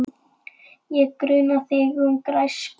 Ég gruna þig um græsku.